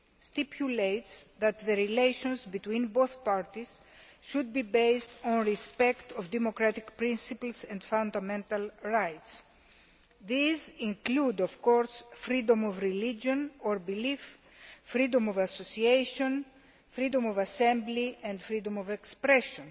stipulates that the relations between the parties should be based on respect for democratic principles and fundamental rights. These include, of course, freedom of religion or belief, freedom of association, freedom of assembly and freedom of expression.